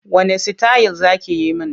Wanne sitayil za ki yi min?